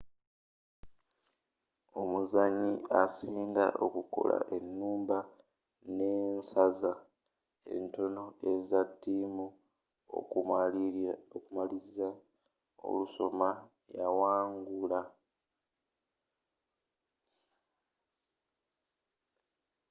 omuzanyi asinga okukola enumba nensaza entono eza tiimu okumaliriza olusoma yawangula